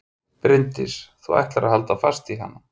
Bryndís: Þú ætlar að halda fast í hana?